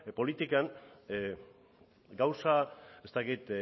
politikan gauza ez dakit